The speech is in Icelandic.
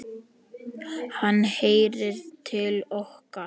Hann heyrir til okkar.